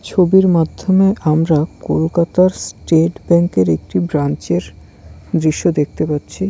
ছবির মাধ্যমে আমরা কলকাতার স্টেট ব্যাঙ্ক এর একটি ব্রাঞ্চ -এর দৃশ্য দেখতে পাচ্ছি।